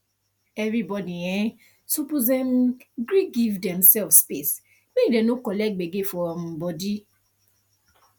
everybody um suppose um gree give demsef space make dem no collect gbege for um body